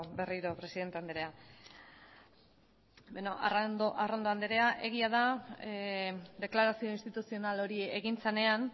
berriro presidente andrea beno arrondo andrea egia da deklarazio instituzional hori egin zenean